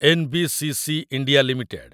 NBCC. India limited